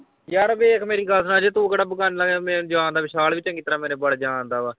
ਯਾਰ ਵੇਖ ਮੇਰੀ ਗੱਲ ਸੁਣ ਅਜੇ ਤੂੰ ਕਿਹੜਾ ਬਿਗਾਨਾ ਆ ਯਾਰ ਮੈਨੂੰ ਜਾਣਦਾ ਵਿਸ਼ਾਲ ਵੀ ਚੰਗੀ ਤਰ੍ਹਾਂ ਮੇਰੇ ਬਾਰੇ ਜਾਣਦਾ ਵਾਂ।